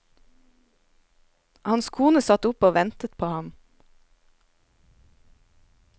Hans kone satt oppe og ventet på ham.